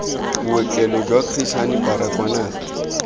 bookelo jwa chris hani baragwanath